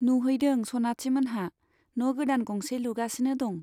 नुहैदों सनाथिमोनहा, न' गोदान गंसे लुगासिनो दं।